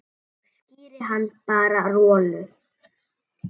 Ég skíri hann bara Rolu.